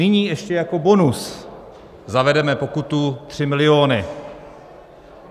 Nyní ještě jako bonus zavedeme pokutu 3 miliony.